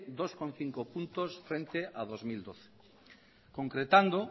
dos punto cinco puntos frente a dos mil doce concretando